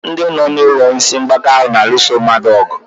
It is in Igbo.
Ndị nọ n'ụlọ ndị isi mgbaka ahụ na-alụso mmadụ ọgụ.